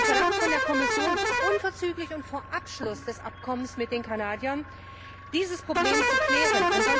Wir verlangen von der Kommission unverzüglich und vor Abschluss des Abkommens mit den Kanadiern, dieses Problem zu klären.